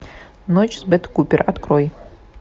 ночь с бет купер открой